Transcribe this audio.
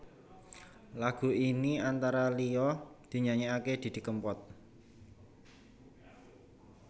Lagu ini antara liya dinyanyèkaké Didi Kempot